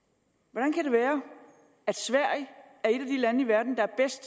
hvordan kan det være at sverige er et af de lande i verden